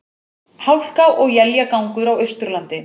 Hálka og éljagangur á Austurlandi